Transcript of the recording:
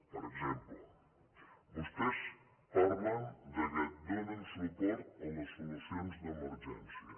per exemple vostès parlen que donen suport a les solucions d’emergència